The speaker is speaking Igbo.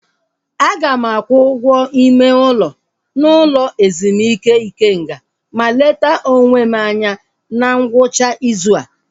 Aga m akwụ ụgwọ ime ụlọ n'ụlọ ezumike Ikenga ma leta onwe m anya na ngwụcha ịzụ a